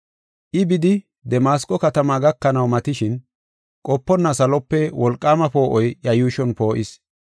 I bidi, Damasqo katama gakanaw matishin, qoponna salope wolqaama poo7oy iya yuushon poo7is.